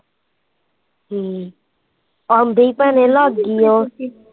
ਹਮ ਆਉਂਦੇ ਈ ਭੈਣੇ ਲੱਗਗੀ ਓਹ